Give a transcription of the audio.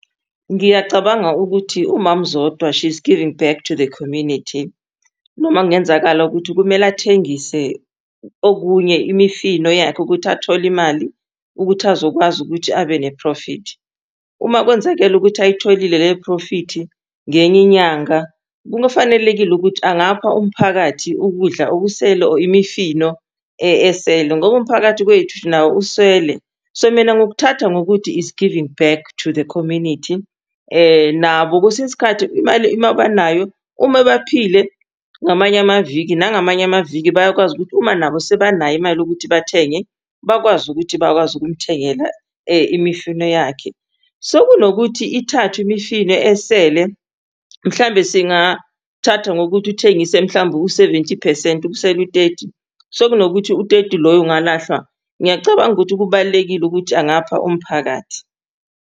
Ngiyacabanga ukuthi umamZodwa she's giving back to the community. Noma kungenzakala ukuthi kumele athengise okunye, imifino yakhe ukuthi athole imali ukuthi azokwazi ukuthi abe ne-profit. Uma kwenzakele ukuthi ayitholile leyo phrofithi ngenye inyanga, kufanelekile ukuthi angapha umphakathi ukudla okusele or imifino esele ngoba umphakathi wethu nawo uswele. So mina ngokuthatha ngokuthi is giving back to the community, nabo kwesinye isikhathi imali uma banayo, uma ebaphile ngamanye amaviki, nangamanye amaviki bayakwazi ukuthi uma nabo sebanayo imali yokuthi bathenge, bakwazi ukuthi bakwazi ukumthengela imifino yakhe. So kunokuthi ithathwe imifino esele, mhlawumbe singathatha ngokuthi uthengise mhlawumbe u-seventy percent kusele u-thirty, so kunokuthi u-thirty loyo ungalahlwa, ngiyacabanga ukuthi kubalulekile ukuthi angapha umphakathi.